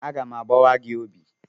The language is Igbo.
Aga m agbawa gị obi!